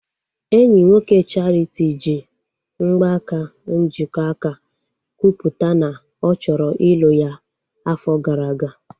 Enyi nwoke Charity ji mgbaaka njikọaka kwupụta na ọ chọrọ ịlụ ya afọ gara aga